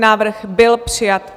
Návrh byl přijat.